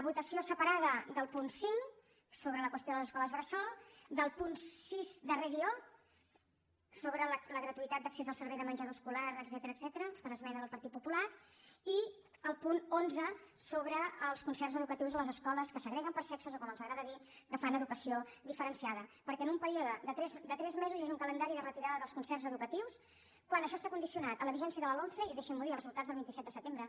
votació separada del punt cinc sobre la qüestió de les escoles bressol del punt sis darrer guió sobre la gra·tuïtat d’accés al servei de menjador escolar etcètera per esmena del partit popular i del punt onze sobre els concerts educatius a les escoles que segreguen per se·xes o com els agrada dir que fan educació diferen·ciada perquè en un període de tres mesos hi hagi un calendari de retirada dels concerts educatius quan ai·xò està condicionat a la vigència de la lomce i dei·xin·m’ho dir als resultats del vint set de setembre